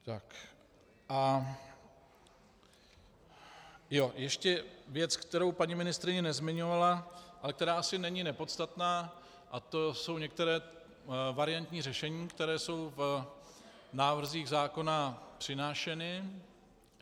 Ještě věc, kterou paní ministryně nezmiňovala, ale která asi není nepodstatná, a to jsou některá variantní řešení, která jsou v návrzích zákona přinášena.